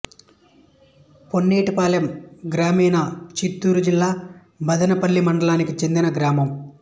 పొన్నేటిపాలెం గ్రామీణ చిత్తూరు జిల్లా మదనపల్లె మండలానికి చెందిన గ్రామం